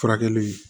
Furakɛli